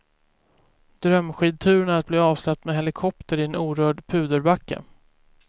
Drömskidturen är att bli avsläppt med helikopter i en orörd puderbacke.